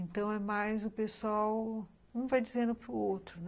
Então, é mais o pessoal, um vai dizendo para o outro, né?